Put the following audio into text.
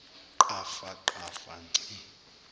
qhafa qhafa ngci